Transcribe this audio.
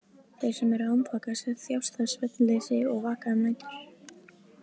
Þeir sem eru andvaka þjást af svefnleysi og vaka um nætur.